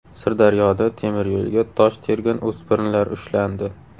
Sirdaryoda temiryo‘lga tosh tergan o‘spirinlar ushlandi.